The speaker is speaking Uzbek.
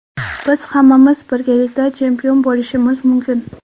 Biz hammamiz birgalikda chempion bo‘lishimiz mumkin.